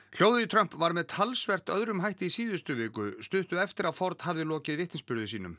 hljóðið í Trump var með talsvert öðrum hætti í síðustu viku stuttu eftir að Ford hafði lokið vitnisburði sínum